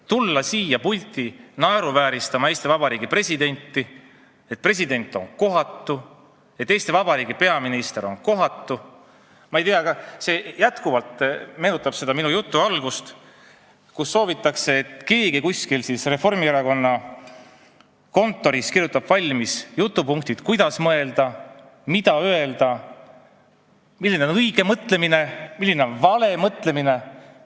Tulla siia pulti naeruvääristama Eesti Vabariigi presidenti, et president olla kohatult käitunud, et Eesti Vabariigi peaminister olla kohatult käitunud – ma ei tea, see meenutab jätkuvalt minu jutu algust, et soovitakse, et keegi kuskil Reformierakonna kontoris kirjutaks valmis jutupunktid, kuidas mõelda ja mida öelda ning milline on õige mõtlemine ja milline on vale mõtlemine.